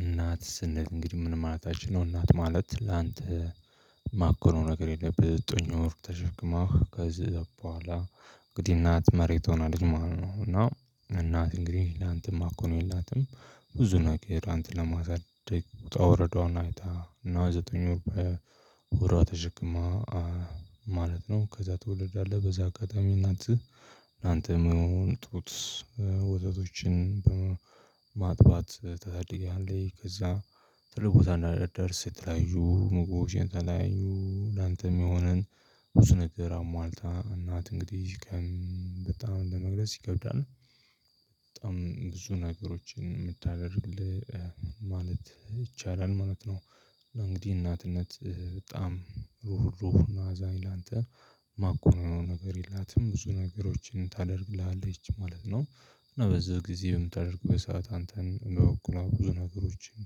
እናት ስንል እንግዲህ ምን ማለት አይቻልም። እናት ማለት ላንተ ማኮነው ነገር የለም። ዘጠኝ ወር ተሸክማ ከዛ በኋላ እንግዲህ እናት መሬት ሆናለች ማለት ነው። እና እናት እንግዲህ ላንተ ማኮነው የላትም። ብዙ ነገር አንተን ለማሳደግ ውጣ ወረዷን አይታ እና ዘጠኝ ወር በሆዷ ተሸክማ ማለት ነው። ከዛ ትወለዳለህ በዛ አጋጣሚ እናትህ ላንንተ የሚሆን ጡት ወተቶችን በማ ማጥባት ታሳድጋለች። ከዛ ትልቅ ቦታ እንድትደርስ የተለያዮ ምግቦች የተለያዩ ላንተ የሚሆንን ብዙ ነገር አሟልታ እናት እንግዲህ በጣም ለመግለጽ ይከብዳል። በጣም ብዙ ነገሮችን የምታደርግልህ ማለት ይቻላል ማለት ነው። እና እንግዲህ እናትነት በጣም ሁሉን አዛኝ ላንተ ማኮነው ነገር የላትም ብዙ ነገሮችን ታደርግልሃለች ማለት ነው። እና በዚህ ጊዜ በምታደርግበት ሰዓት አንተን በበኩሏ ብዙ ነገሮችን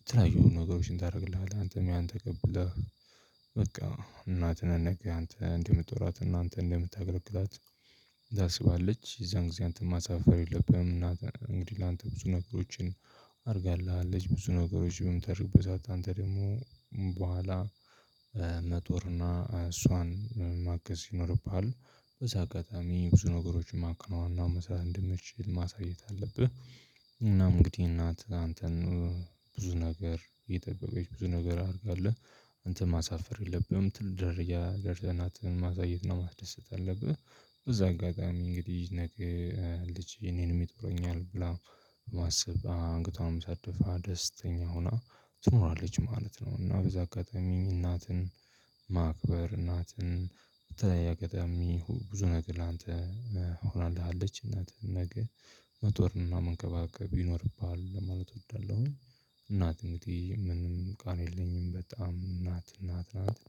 የተለያዮ ነገሮችን ታደርግልሃለህ አንተም ያን ተቀብለህ። በቃ እናትህን ነገ አንተ እንደምትጦራት እና አንተ እንደምታገለግላት ታስባለች። የዛን ጊዜ አንተም ማሳፈር የለብህም። እናትህ እንግዲህ ላንተ ብዙ ነገሮችን አድርጋልሀለች አለች ብዙ ነገሮችን በምታደርግበት ሰዓት አንተ ደግሞ በኋላ መጦርና እሷን ማገዝ ይኖርብሃል። በዚህ አጋጣሚ ብዙ ነገሮችን ማከናወንና መስራት እንድምትችል ማሳየት አለብህ። እና እንግዲህ እናትህ አንተን ብዙ ነገር እየጠበቀች ብዙ ነገር አድርጋለህ። አንተም ማሳፈር የለብህም ትልቅ ደረጃ ደርሰህ እናትህን ማሳየት እና ማስደሰት አለብህ። በዚ አጋጣሚ እንግዲህ ነገ ልጄ እኔንም ይጦረኛል ብላ በማሰብ አንገቷንም ሳትደፋ ደስተኛ ሆና ትኖራለች ማለት ነው። እና በዚ አጋጣሚ እናትን ማክበር እናትን በተለያየ አጋጣሚ ብዙ ነገር ላንተ ሆናልህ አለች እናትህ ነገ መጦርና መንከባከብ ይኖርብሃል ለማለት እወዳለሁኝ። እናት እንግዲህ ምንም ቃል የለኝም በጣም እናት እናት ናት።